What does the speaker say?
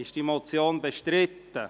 Ist diese Motion bestritten?